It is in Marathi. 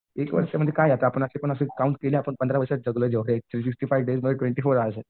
एक म्हणजे काय जातं असं पण आपण काम केले आपण पंधरा वर्षात जगलो जेवढे ही ट्वेन्टी फोर हवर्स आहेत.